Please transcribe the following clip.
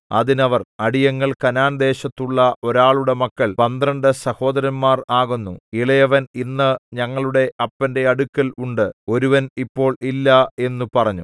അതിന് അവർ അടിയങ്ങൾ കനാൻ ദേശത്തുള്ള ഒരാളുടെ മക്കൾ പന്ത്രണ്ട് സഹോദരന്മാർ ആകുന്നു ഇളയവൻ ഇന്ന് ഞങ്ങളുടെ അപ്പന്റെ അടുക്കൽ ഉണ്ട് ഒരുവൻ ഇപ്പോൾ ഇല്ല എന്നു പറഞ്ഞു